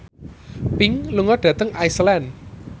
Pink lunga dhateng Iceland